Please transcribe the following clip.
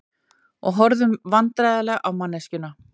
Og horfðum vandræðaleg á manneskjuna.